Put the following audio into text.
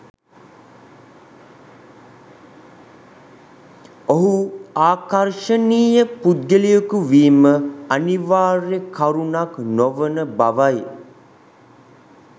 ඔහු ආකර්ෂණීය පුද්ගලයකු වීම අනිවාර්ය කරුණක් නොවන බවයි.